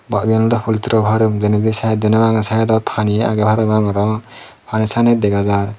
ba iyen daw poltiri farm denedei site deney bangey saidodi pani agay paraman arow pani sanye dagajar.